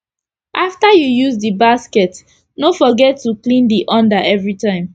after u use d basket no forget to clean d under everi time